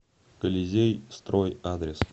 колизей строй адрес